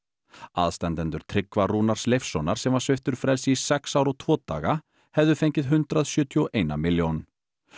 aðstandendur Tryggva Rúnars Leifssonar sem var sviptur frelsi í sex ár og tvo daga hefðu fengið hundrað sjötíu og ein milljón